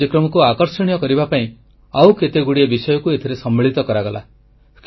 ଏହି କାର୍ଯ୍ୟକ୍ରମକୁ ଆକର୍ଷଣୀୟ କରିବା ପାଇଁ ଆଉ କେତେଗୁଡ଼ିଏ ବିଷୟକୁ ଏଥିରେ ସମ୍ମିଳିତ କରାଗଲା